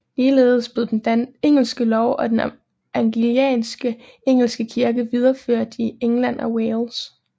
Ligeledes blev engelsk lov og den anglikanske engelske kirke videreført i England og Wales